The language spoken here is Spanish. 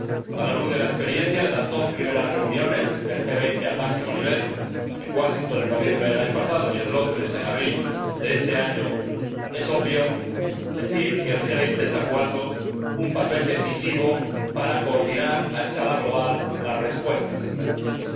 A la luz de la experiencia de las dos primeras reuniones del G 20 al máximo nivel, en Washington en noviembre del año pasado y en Londres en abril de este año, es obvio decir que el G 20 está jugando un papel decisivo para coordinar a escala global las respuestas a esta crisis.